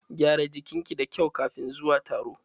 Gyara jikin ki da kyau kafin zuwa taro.